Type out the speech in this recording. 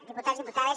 diputats diputades